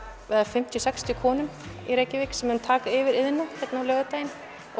með fimmtíu sextíu konum í Reykjavík sem mun taka yfir Iðnó á laugardaginn